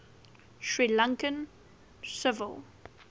sri lankan civil